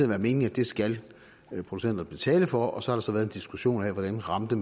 været meningen at det skal producenterne betale for og så har der så været en diskussion af hvordan man ramte